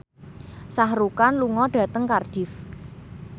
Shah Rukh Khan lunga dhateng Cardiff